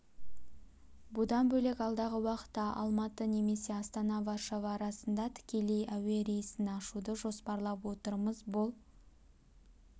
бұдан бөлек алдағы уақытта алматы немесе астана-варшава арасында тікелей әуе рейсін ашуды жоспарлап отырмыз бұл